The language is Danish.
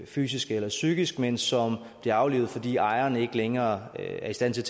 fysisk eller psykisk men som bliver aflivet fordi ejeren ikke længere er i stand til